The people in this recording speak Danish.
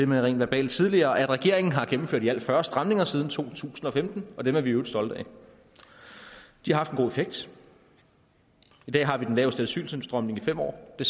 med rent verbalt tidligere om at regeringen har gennemført i alt fyrre stramninger siden to tusind og femten og dem er vi i øvrigt stolte af de har haft en god effekt i dag har vi den laveste asyltilstrømning i fem år det